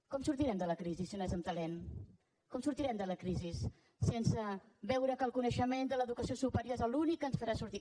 com sortirem de la crisi si no és amb talent com sortirem de la crisi sense veure que el coneixement de l’educació superior és l’únic que ens farà sortir